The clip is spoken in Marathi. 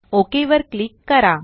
ओक वर क्लिक करा